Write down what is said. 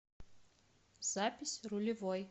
запись рулевой